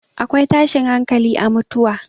akwai tashin hankali a mutuwa